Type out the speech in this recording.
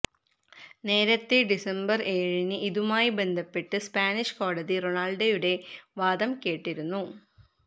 നേരത്തെ ഡിസംബര് ഏഴിന് ഇതുമായി ബന്ധപ്പെട്ട് സ്പാനിഷ് കോടതി റൊണാള്ഡോയുടെ വാദം കേട്ടിരുന്നു